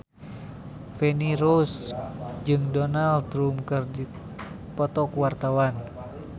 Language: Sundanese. Feni Rose jeung Donald Trump keur dipoto ku wartawan